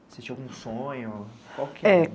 Você tinha algum sonho? Qual que... É...